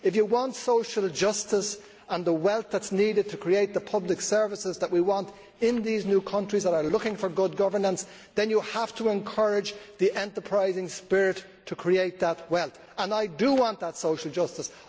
If you want social justice and the wealth that is needed to create the public services we want in these new countries that are looking for good governance, then you have to encourage the enterprising spirit to create that wealth and I do want that social justice.